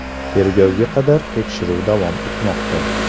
Tergovga qadar tekshiruv davom etmoqda.